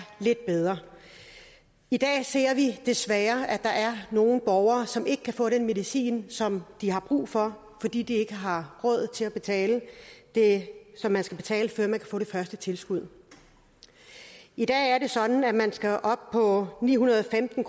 lidt bedre i dag ser vi desværre at der er nogle borgere som ikke kan få den medicin som de har brug for fordi de ikke har råd til at betale det som man skal betale før man kan få det første tilskud i dag er det sådan at man skal op på ni hundrede og femten